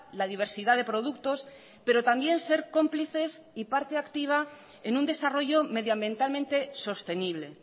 la diversidad de productos pero también ser cómplices y parte activa en un desarrollo medioambientalmente sostenible